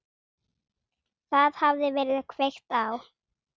Það hafði verið kveikt á